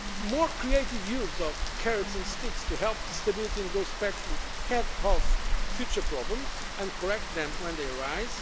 more creative use of carrots and sticks to help the Stability and Growth Pact head off future problems and correct them when they arise